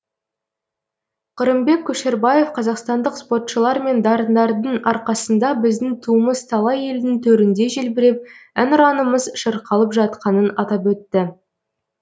қырымбек көшербаев қазақстандық спортшылар мен дарындардың арқасында біздің туымыз талай елдің төрінде желбіреп әнұранымыз шырқалып жатқанын атап өтті